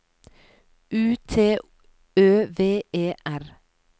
U T Ø V E R